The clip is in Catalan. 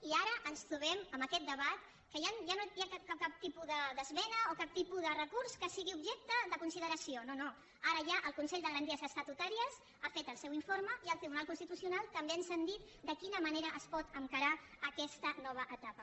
i ara ens trobem amb aquest debat que ja no hi ha cap tipus d’esmena o cap tipus de recurs que sigui objecte de consideració no no ara ja el consell de garanties estatutàries ha fet el seu informe i el tribunal constitucional també ens ha dit de quina manera es pot encarar aquesta nova etapa